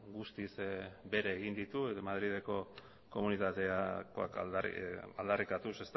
guztiz bere egin ditu madrileko komunitatekoak aldarrikatuz